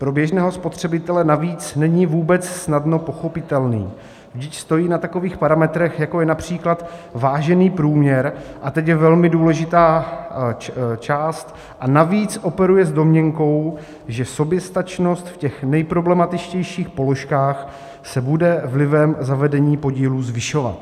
Pro běžného spotřebitele navíc není vůbec snadno pochopitelný, vždyť stojí na takových parametrech, jako je například vážený průměr" - a teď je velmi důležitá část - "a navíc operuje s domněnkou, že soběstačnost v těch nejproblematičtějších položkách se bude vlivem zavedení podílů zvyšovat."